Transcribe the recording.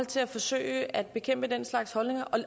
til at forsøge at bekæmpe den slags holdninger